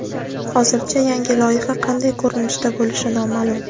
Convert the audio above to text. Hozircha yangi loyiha qanday ko‘rinishda bo‘lishi noma’lum.